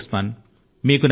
అలాగే ఉస్మాన్